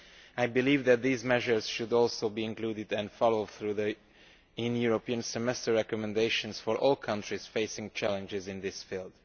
I believe that these measures should also be included and followed through in the European Semester recommendations for all countries facing challenges in this field.